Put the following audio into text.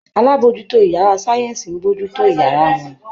Alábòójútó ìyárá sáyẹ́nsì ń bójú tó àwọn ìyárá wọn.